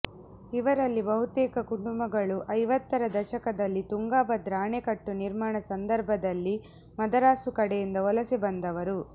ಇವರಲ್ಲಿ ಬಹುತೇಕ ಕುಟುಂಬಗಳು ಐವತ್ತರ ದಶಕದಲ್ಲಿ ತುಂಗಾಭದ್ರ ಆಣೆಕಟ್ಟು ನಿರ್ಮಾಣ ಸಂದರ್ಭದಲ್ಲಿ ಮದರಾಸು ಕಡೆಯಿಂದ ವಲಸೆ ಬಂದವರು